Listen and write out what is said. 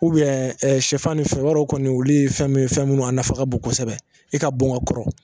sɛfan ni fɛn i b'a dɔn kɔni olu ye fɛn ye fɛn minnu a nafa ka bon kosɛbɛ e ka bon ka kɔrɔ